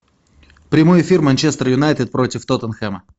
прямой эфир манчестер юнайтед против тоттенхэма